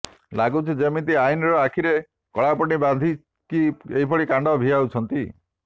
ଲାଗୁଛି ଯେମିତି ଆଇନର ଆଖିରେ କଳାପଟି ବାନ୍ଧିକି ଏଭଳି କାଣ୍ଡ ଭିଆଉଛନ୍ତି